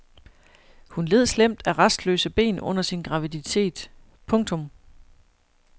Hun led slemt af rastløse ben under sin graviditet. punktum